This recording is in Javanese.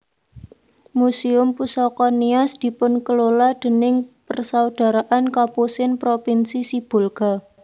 Muséum Pusaka Nias dipunkelola déning Persaudaraan Kapusin Propinsi Sibolga